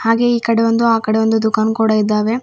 ಹಾಗೆಯೇ ಈಕಡೆ ಒಂದು ಆಕಡೆ ಒಂದು ದುಖಾನ್ ಕೂಡ ಇದ್ದಾವೆ.